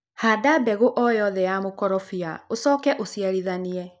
Handa mbegũ o yothe ya mũkorobia ucoke ũũciarithanie.